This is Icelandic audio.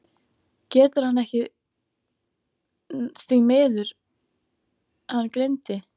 GETUR HANN EKKI ÞVÍ MIÐUR, HANN GLEYMDI